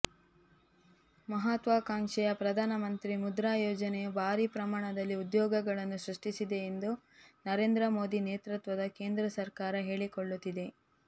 ಮಹತ್ವಾಕಾಂಕ್ಷೆಯ ಪ್ರಧಾನಮಂತ್ರಿ ಮುದ್ರಾ ಯೋಜನೆಯು ಭಾರಿ ಪ್ರಮಾಣದಲ್ಲಿ ಉದ್ಯೋಗಗಳನ್ನು ಸೃಷ್ಟಿಸಿದೆ ಎಂದು ನರೇಂದ್ರ ಮೋದಿ ನೇತೃತ್ವದ ಕೇಂದ್ರ ಸರ್ಕಾರ ಹೇಳಿಕೊಳ್ಳುತ್ತಿದೆ